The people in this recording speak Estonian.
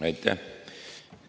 Aitäh!